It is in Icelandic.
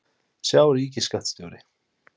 Sjá: Ríkisskattstjóri.